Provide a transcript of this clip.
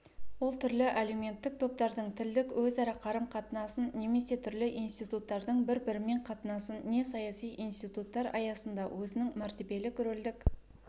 ол түрлі әлеуметтік топтардың тілдік өзара қарым-қатынасын немесе түрлі институттардың бір-бірімен қатынасын не саяси институттар аясында өзінің мәртебелік-рөлдік